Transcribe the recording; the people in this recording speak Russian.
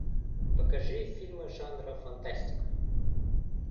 покажи фильмы жанра фантастика